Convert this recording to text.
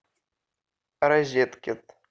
розеткед